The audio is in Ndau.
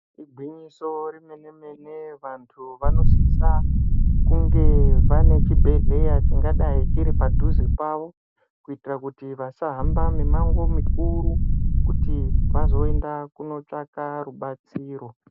Igwinyiso remene mene kuti vantu vanosisa kunge vane chibhedhleya chingadai chiri padhuze pawo kuitira kuti vasahamba mimango mikuru kuti vazoenda kunotsvaka rubatsiro